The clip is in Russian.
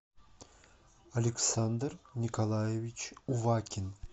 александр николаевич увакин